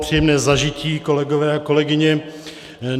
Příjemné zažití, kolegové a kolegyně.